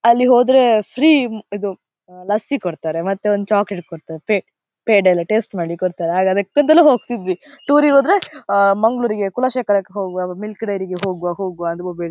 ಅಲ್ಲಿ ಹೋದ್ರೆ ಫ್ರೀ ಇದು ಲಸ್ಸಿ ಕೊಡ್ತಾರೆ ಮತ್ತೆ ಒಂದು ಚಾಕಲೇಟ್ ಫೆ ಪೇಡ ಟೇಸ್ಟ್ ಮಾಡ್ಲಿಕೆ ಕೊಡ್ತಾರೆ ಆಗ ಅದಕ್ಕಂತಲೇ ಹೋಗ್ತಿದ್ವಿ ಟೂರಿಗೆ ಹೋದ್ರೆ ಆ ಮಂಗಳೂರುರಿಗೆ ಕುಲಶೇಖರಕ್ಕೇ ಹೋಗುವ ಮಿಲ್ಕ್ ಡೈರಿಗೆ ಹೋಗುವ ಹೋಗುವ ಅಂತ